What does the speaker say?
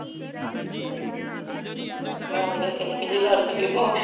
ਮੈਂ ਤੇ ਕਿਹਾ ਕੈਦੀ ਲਗਦੀਆ ਬਾਂਹ